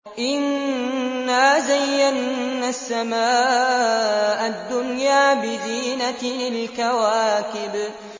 إِنَّا زَيَّنَّا السَّمَاءَ الدُّنْيَا بِزِينَةٍ الْكَوَاكِبِ